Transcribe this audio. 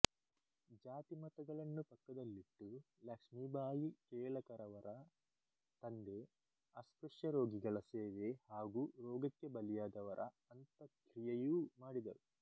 ಜಾತಿ ಮತಗಳನ್ನು ಪಕ್ಕದಲಿಟ್ಟು ಲಕ್ಷ್ಮಿಬಾಯಿ ಕೇಳಕರವರ ತಂದೆ ಅಸ್ಪೃಶ್ಯ ರೋಗಿಗಳ ಸೇವೆ ಹಾಗು ರೋಗಕ್ಕೆ ಬಲಿಯಾದವರ ಅಂತಃಕ್ರಿಯೆಯೂ ಮಾಡಿದರು